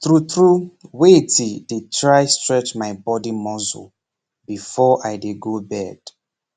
true true waiti dey try strech my body muscle before i dey go bed